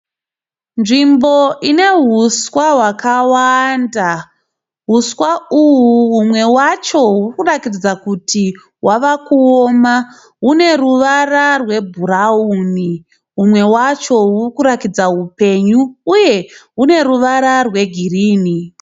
Nzvimbo ine huswa hwakawanda. Huswa uhu humwe hwacho hurikuratidza kuti hwava kuoma hune ruvara rwebhurauni. Humwe hwacho hurikuratidza hupenyu uye hune ruvara rwegirini.